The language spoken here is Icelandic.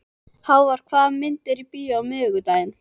Hávar, hvaða myndir eru í bíó á miðvikudaginn?